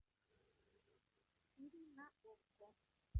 фильм на окко